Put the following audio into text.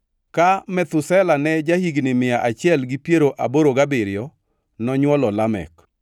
Ka Methusela ne ja-higni mia achiel gi piero aboro gabiriyo, nonywolo Lamek.